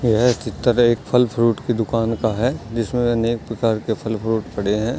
यह चित्र एक फल फ्रूट की दूकान का है जिसमें अनेक प्रकार के फल फ्रूट पड़े हैं।